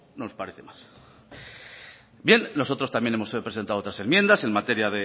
nos parece mal bien nosotros también hemos presentado otras enmiendas en materia